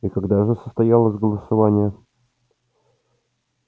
и когда же состоялось голосование